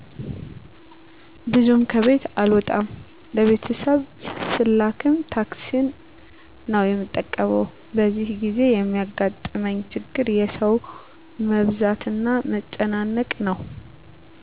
ብዙም ከቤት አልወጣም ለቤተሰብ ስላክም ታክሲን ነው የምጠቀመው በዚህን ጊዜ የሚያጋጥመኝ ችግር የሠው መብዛትና መጨናነቅ ነው